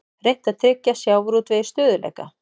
Reynt að tryggja sjávarútvegi stöðugleika